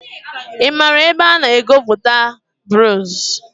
I maara ebe a na-egwupụta bronz?